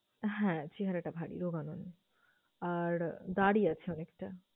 হ্যাঁ, চেহারাটা ভারী, রোগা নয় আর দাঁড়ি আছে অনেকটা।